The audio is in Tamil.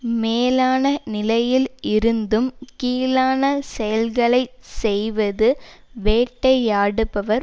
மேலான நிலையில் இருந்தும் கீழான செயல்களை செய்வது வேட்டை ஆடுபவர்